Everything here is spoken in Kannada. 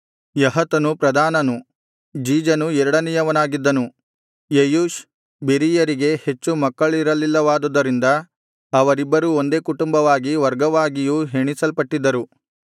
ಯಹತನು ಪ್ರಧಾನನು ಜೀಜನು ಎರಡನೆಯವನಾಗಿದ್ದನು ಯೆಯೂಷ್ ಬೆರೀಯರಿಗೆ ಹೆಚ್ಚು ಮಕ್ಕಳಿರಲಿಲ್ಲವಾದುದರಿಂದ ಅವರಿಬ್ಬರೂ ಒಂದೇ ಕುಟುಂಬವಾಗಿ ವರ್ಗವಾಗಿಯೂ ಎಣಿಸಲ್ಪಟ್ಟಿದ್ದರು